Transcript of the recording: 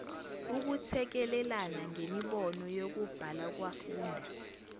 ukuthekelelana ngemibono yokubhalakwafunda